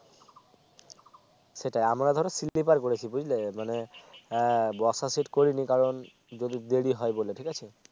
সেটাই আমরা ধরো Sleeper করেছি বুঝলে মানে আহ বসার Sit করিনি কারণ যদি দেরি হয় বলে ঠিক আছে